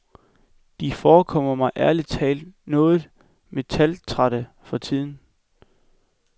De forekommer mig ærlig talt noget metaltrætte for tiden.